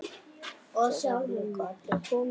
Þeir hafa líka allir komið.